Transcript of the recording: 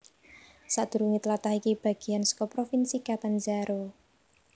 Sadurungé tlatah iki bagéan saka Provinsi Catanzaro